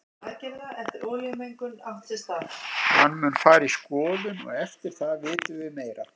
Hann mun fara í skoðun og eftir það vitum við meira.